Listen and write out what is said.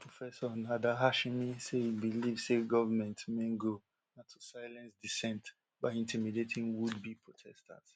georgetown professor nader hashemi say e believe say govment main goal na to silence dissent by intimidating wouldbe protesters